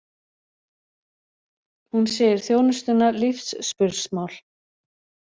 Hún segir þjónustuna lífsspursmál